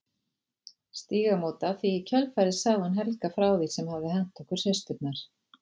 Stígamóta því í kjölfarið sagði hún Helga frá því sem hafði hent okkur systurnar.